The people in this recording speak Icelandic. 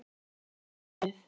Bíðum nú við.